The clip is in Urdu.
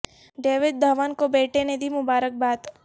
ڈ یوڈ دھون کو بیٹے نے دی مبارکباد